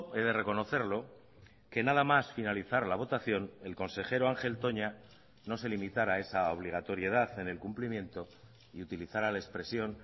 he de reconocerlo que nada más finalizar la votación el consejero ángel toña no se limitará a esa obligatoriedad en el cumplimiento y utilizará la expresión